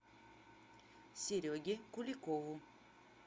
сереге куликову